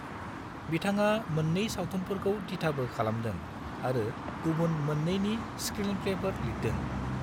बिथाङा मोननै सावथुनफोरखौ दिथाबो खालामदों आरो गुबुन मोननैनि स्क्रिनप्लेफोर लिरदों।